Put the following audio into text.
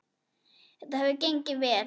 Þetta hefur gengið vel.